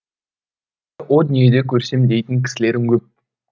о дүниеде көрсем дейтін кісілерім көп